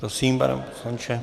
Prosím, pane poslanče.